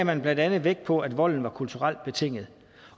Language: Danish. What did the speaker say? man blandt andet vægt på at volden var kulturelt betinget